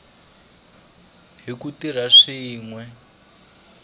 hi ku tirha swin we